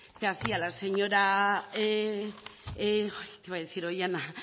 que hacía